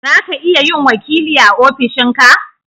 zaka iya yin wakili a ofishin ka